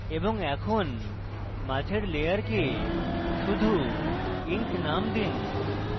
এবং এখন মাঝের layer শুধু ink name দিন